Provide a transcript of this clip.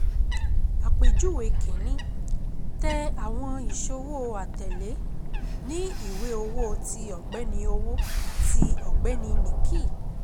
Àpèjúwe Kin-ní: Tẹ́ àwọn ìṣòwò atẹ̀lé ní Ìwé Owó ti ọ̀gbẹ́ni Owó ti ọ̀gbẹ́ni Nikhil